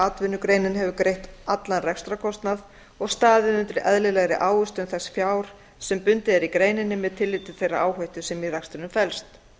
atvinnugreinin hefur greitt allan rekstrarkostnað og staðið undir eðlilegri ávöxtun þess fjár sem bundið er í greininni með tilliti til þeirrar áhættu sem í rekstrinum felst